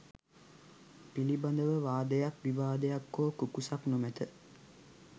පිළිබඳව වාදයක් විවාදයක් හෝ කුකුසක් නොමැත.